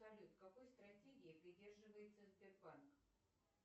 салют какой стратегии придерживается сбербанк